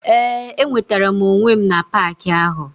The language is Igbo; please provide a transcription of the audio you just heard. Ee enwetara m onwe m na park ahụ.